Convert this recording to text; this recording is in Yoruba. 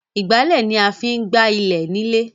Ìgbálẹ̀ ni a máa ń fi ń gb ilẹ̀ nílé.